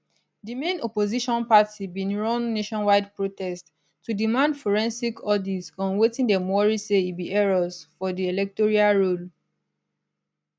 di main opposition party bin run nationwide protest to demand forensic audit on wetin dem worry say be errors for di electoral roll